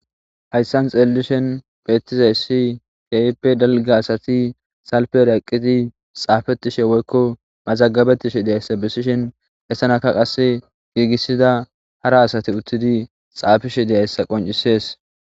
Hayssan xeelelishen beetizayssi keipe dalge asati salperaqqiti xaafetishe woykko mazagabetishe deyayssa bessishen hessanaka qasse giigissida hara asati uttidi xaafishe deyayssa qoncisees.